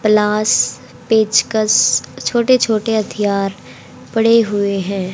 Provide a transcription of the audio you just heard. प्लास पेचकस छोटे छोटे हथियार पड़े हुए हैं।